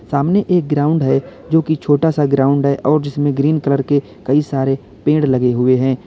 सामने एक ग्राउंड है जो कि छोटा सा ग्राउंड है और जिसमें ग्रीन कलर के कई सारे पेड़ लगे हुए है।